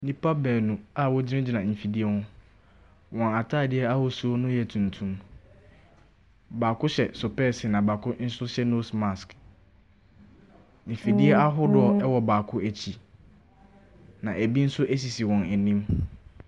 Nipa baanu a wɔgyinagyina mfidie ho. Wɔn atadeɛ ahosuo no yɛ tuntum. Baako hyɛ sopɛɛse na baako nso hyɛ nose mask. Mfidie ahodoɔ wɔ baako akyi. Na ɛbi nso sisi wɔn anim.